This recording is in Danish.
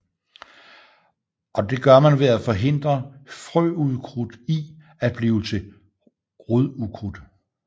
Og det gør man ved at forhindre frøukrudt i at blive til rodukrudt